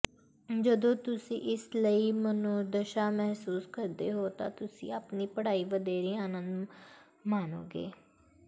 ਜਦੋਂ ਤੁਸੀਂ ਇਸ ਲਈ ਮਨੋਦਸ਼ਾ ਮਹਿਸੂਸ ਕਰਦੇ ਹੋ ਤਾਂ ਤੁਸੀਂ ਆਪਣੀ ਪੜ੍ਹਾਈ ਵਧੇਰੇ ਆਨੰਦ ਮਾਣੋਗੇ